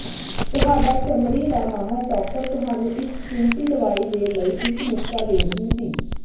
ਤੁਹਾਡਾ ਚਮੜੀ ਦਾ ਮਾਹਰ ਡਾਕਟਰ ਤੁਹਾਨੂੰ ਇੱਕ ਫਿਣਸੀ ਦਵਾਈ ਦੇ ਲਈ ਇੱਕ ਨੁਸਖ਼ਾ ਦੇ ਦਿੱਤੀ